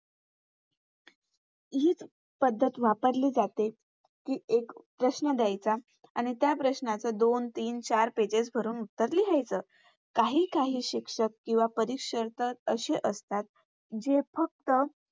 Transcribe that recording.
हीच पद्धत वापरली जाते. कि एक प्रश्न दयायचा आणि त्या प्रश्नाचं दोन तीन चार Pages भरून उत्तर लिहायचं. काही काही शिक्षक किंवा परीक्षक असे असतात जे फक्त